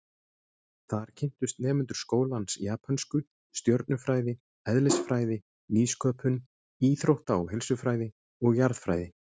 Þar kynntust nemendur skólans japönsku, stjörnufræði, eðlisfræði, nýsköpun, íþrótta- og heilsufræði og jarðfræði.